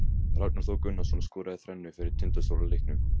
Ragnar Þór Gunnarsson skoraði þrennu fyrir Tindastól í leiknum.